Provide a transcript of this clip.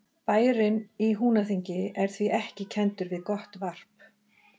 Bærinn í Húnaþingi er því ekki kenndur við gott varp.